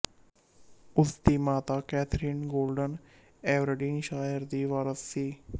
ਉਸ ਦੀ ਮਾਤਾ ਕੈਥਰੀਨ ਗੌਰਡਨ ਐਵਰਡੀਨਸ਼ਾਇਰ ਦੀ ਵਾਰਸ ਸੀ